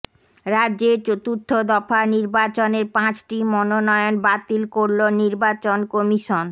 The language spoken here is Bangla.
রাজ্যের চতুর্থ দফা নির্বাচনের পাঁচটি মনোনয়ন বাতিল করল নির্বাচন কমিশন